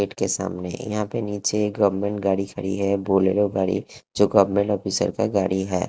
Gate सामने यहाँ पे नीचे गवर्नमेंट गाड़ी खड़ी है बोलेरो गाड़ी जो गवर्नमेंट ऑफिसर का गाड़ी है।